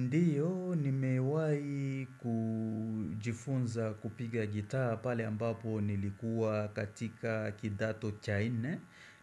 Ndiyo nimewai kujifunza kupiga gitaa pale ambapo nilikuwa katika kidato cha ine